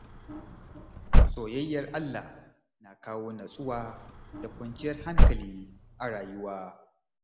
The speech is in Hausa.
Soyayyar Allah na kawo natsuwa da kwanciyar hankali a rayuwa.